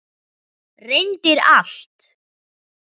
Reyndir allt.